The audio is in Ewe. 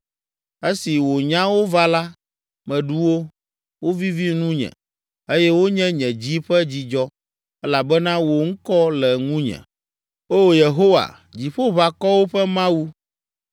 Esi wò nyawo va la, meɖu wo, wovivi nunye eye wonye nye dzi ƒe dzidzɔ, elabena wò ŋkɔ le ŋunye, O Yehowa, Dziƒoʋakɔwo ƒe Mawu.